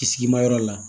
Kisimayɔrɔ la